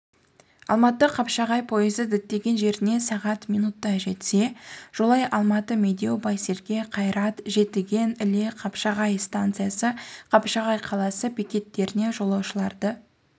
алматы қапшағай пойызы діттеген жеріне сағат минутта жетсе жолай алматы медеу байсерке қайрат жетіген іле қапшағай станциясы қапшағай қаласы бекеттерінен жолаушыларды